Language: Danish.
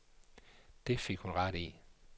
Det fik hun ret i.